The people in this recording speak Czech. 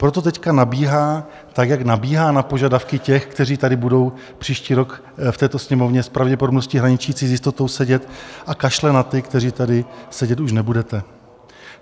Proto teď nabíhá, tak jak nabíhá na požadavky těch, kteří tady budou příští rok v této Sněmovně s pravděpodobností hraničící s jistotou sedět, a kašle na ty, kteří tady sedět už nebudete.